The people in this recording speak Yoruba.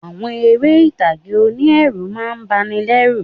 Àwọn eré ìtàgé oní ẹ̀rù má a ń bani lẹ́ rù